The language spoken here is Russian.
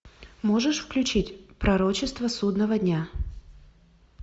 можешь включить пророчество судного дня